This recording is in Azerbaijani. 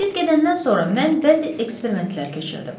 Siz gedəndən sonra mən bəzi eksperimentlər keçirdim.